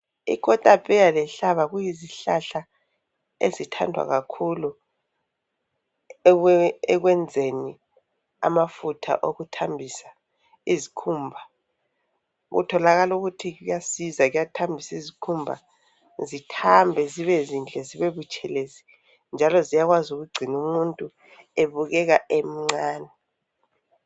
Ikota pheya lenhlaba kuyizihlahla ezithandwa kakhulu ekwenzeni amafutha okuthambisa izikhumba. Kutholakala ukuthi kuyasiza ukuthambisa isikhumba. Zithambe zibe zinhle zibe butshelezi njalo ziyakwazi ukugcina umuntu ebukeka emncane.